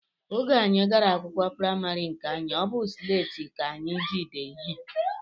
Oge anyị gara akwụkwọ praịmarị nke anyị, ọ bụ sleeti ka anyị ji dee ihe